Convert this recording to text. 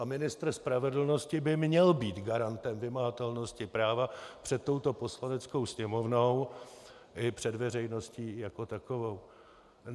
A ministr spravedlnosti by měl být garantem vymahatelnosti práva před touto Poslaneckou sněmovnou i před veřejností jako takovou.